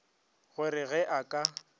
go re ge a ka